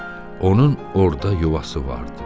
Onun orda yuvası vardı.